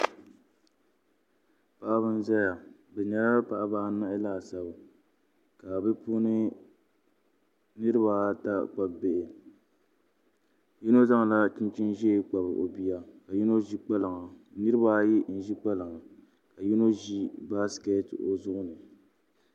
Paɣaba n ʒɛya bi nyɛla paɣaba anahi laasabu ka bi puuni niraba ata kpabi bihi yino zaŋla chinchin ʒiɛ kpabi o bia ka yino ʒi kpalaŋa niraba ayi n ʒi kpalaŋa ka yino ʒi baskɛt o zuɣu ni